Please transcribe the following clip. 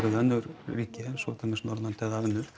við önnur ríki eins og til dæmis Norðurlönd eða önnur